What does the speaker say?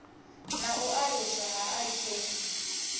na u aluswa ha ik